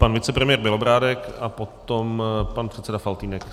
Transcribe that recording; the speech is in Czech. Pan vicepremiér Bělobrádek a potom pan předseda Faltýnek.